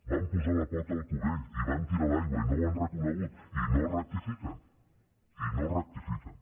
van posar la pota al cubell i van tirar l’aigua i no ho han reconegut i no rectifiquen i no rectifiquen